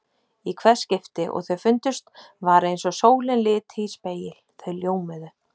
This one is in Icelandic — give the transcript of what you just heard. Í hvert skipti og þau fundust var eins og sólin liti í spegil: þau ljómuðu.